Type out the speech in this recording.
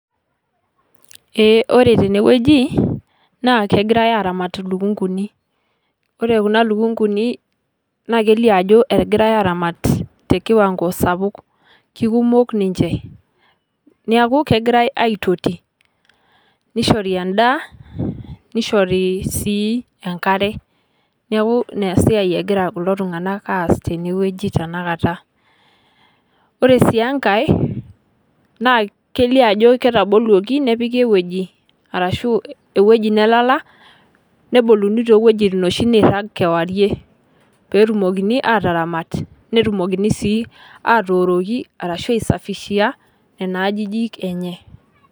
Eeh kore tenewueji naa kegirai aramaat lukunguni. Kore kuna lukunguli naa keiloo ajoo etigirai aramaat te kiwango sapuuk kikumook ninchee. Naaku kegirai aitoti neishoori endaa. Neishoori sii enkare. Naaku nia siai egira kudoo ltung'anak aas tenewueji tana nkaata. Kore sii enkaai naa keilio ajoo keitaboloki nepiiki wueji arashu ewueji nelala . Nebulunii tewueji noshii neiraang' kewuare pee etumokini ataramaat. Netumokini atooroki arashu aisafishia nenia ajijiik enye.